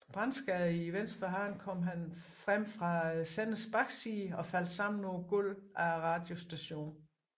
Brandskadet i venstre hånd kom han frem fra senderens bagside og faldt sammen på gulvet af radiostationen